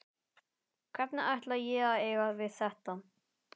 Hvernig ætla ég að eiga við þetta?